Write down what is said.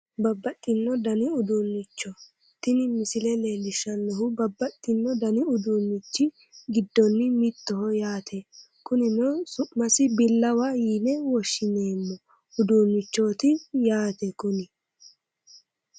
Babbaxxino dani uduunnicho tini misile leellishshannohu babbaxxino dani uduunnichi giddonni mittoho yaate kunino su'masi billawa yine woshshineemmo uduunnichooti yaate kuni